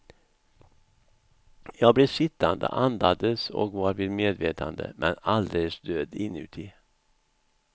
Jag blev sittande, andades och var vid medvetande men alldeles död inuti.